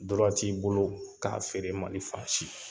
t'i bolo k'a feere Mali fan si.